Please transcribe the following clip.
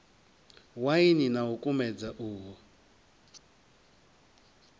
waini na u kumedza uho